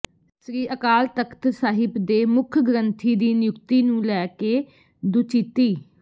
ਸ੍ਰੀ ਅਕਾਲ ਤਖ਼ਤ ਸਾਹਿਬ ਦੇ ਮੁੱਖ ਗ੍ਰੰਥੀ ਦੀ ਨਿਯੁਕਤੀ ਨੂੰ ਲੈ ਕੇ ਦੁਚਿੱਤੀ